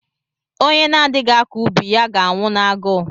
Onye na-adịghị akọ ubi ya ga-anwụ n'agụụ.